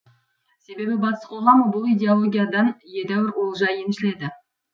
себебі батыс қоғамы бұл идеологиядан едәуір олжа еншіледі